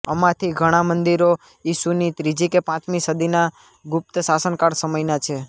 અમાંથી ઘણા મંદિરો ઇસુની ત્રીજી કે પાંચમી સદીના ગુપ્ત શાસનકાળ સમયના છે